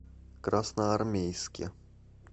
красноармейске